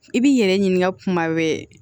I b'i yɛrɛ ɲininka kuma wɛrɛ